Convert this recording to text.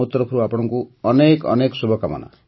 ମୋ ତରଫରୁ ଅନେକ ଅନେକ ଶୁଭକାମନା